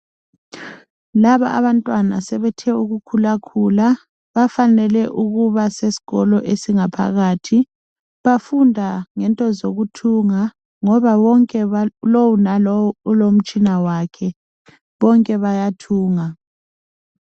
Laba abantwana sebethe ukukhulakhula bafanele ukuba sesikolo esingaphakathi bafunda ngento zokuthumga ngoba bonke lo lalo ulomutshina wakhe bonke bayathunga